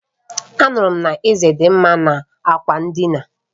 Anuru m na Eze di nma n'ákwà ndịna